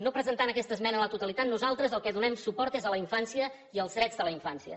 no presentant aquesta esmena a la totalitat nosaltres al que donem suport és a la infància i als drets de la infància